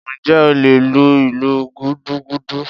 Njẹ o le lú ìlú gúdúgúdú?